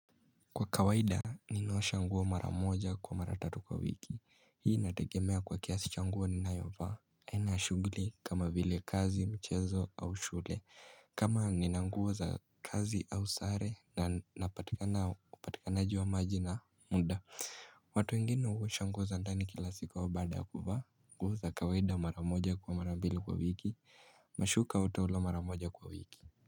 Kwa kawaida ninaosha nguo mara moja kwa mara tatu kwa wiki, hii inategemea kwa kiasi cha nguo ninayovaa, aina ya shughuli kama vile kazi, mchezo au shule kama nina nguo za kazi au sare na napatikana upatikanaji wa maji na muda watu wengine huosha nguo za ndani kila sika ua baada ya kuvaa nguo za kawaida mara moja kwa mara mbili kwa wiki na shuka au taulo mara moja kwa wiki.